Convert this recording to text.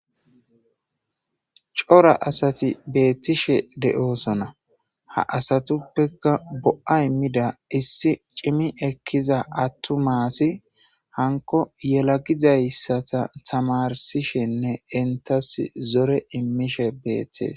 Cora asati beettishe de7oosona ha asatuppeka bo7a immida issi cimi ekkiza attu maasi hanko yelagizayssata tamarsishenne entas zore immishe beethties.